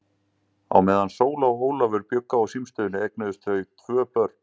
Á meðan Sóla og Ólafur bjuggu á símstöðinni eignuðust þau tvö börn.